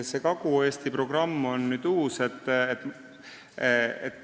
See Kagu-Eesti programm on uus.